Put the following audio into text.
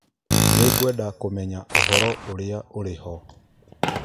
Nĩ ngwenda kũmenya ũhoro ũrĩa ũrĩ ho.